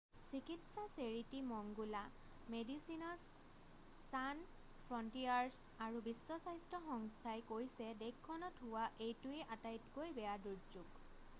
চিকিৎসা চেৰিটি মংগোলা Medecins Sans Frontieres আৰু বিশ্ব স্বাস্থ্য সংস্থাই কৈছে দেশখনত হোৱা এইটোৱেই আটাইতকৈ বেয়া দুৰ্যোগ